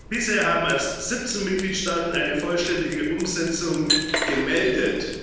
Bisher haben erst 17 Mitgliedstaaten eine vollständige Umsetzung gemeldet.